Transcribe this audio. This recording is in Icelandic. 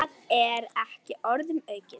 Það er ekki orðum aukið.